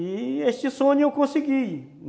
E este sonho eu consegui.